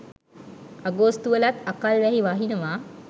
අගෝස්තු වලත් අකල් වැහි වහිනව.